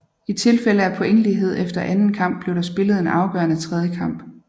I tilfælde af pointlighed efter anden kamp blev der spillet en afgørende tredje kamp